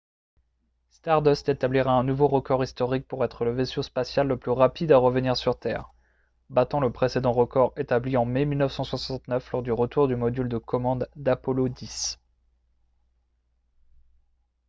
stardust établira un nouveau record historique pour être le vaisseau spatial le plus rapide à revenir sur terre battant le précédent record établi en mai 1969 lors du retour du module de commande d'apollo x